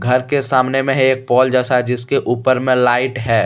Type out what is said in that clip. घर के सामने में है एक पोल जैसा जिसके ऊपर में लाइट है।